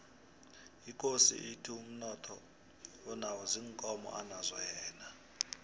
ikosi ithi umnotho anawo ziinkomo anazo yena